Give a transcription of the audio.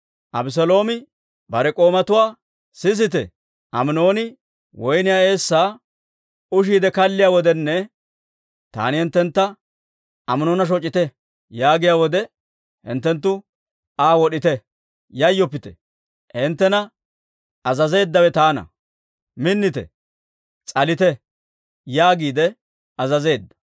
Abeseeloomi bare k'oomatuwaa, «sisite! Aminooni woyniyaa eessaa ushiidde kalliyaa wodenne taani hinttentta, ‹Aminoona shoc'ite› yaagiyaa wode, hinttenttu Aa wod'ite. Yayyoppite! Hinttena azazeeddawe taana. Minnite! S'alite!» yaagiide azazeedda.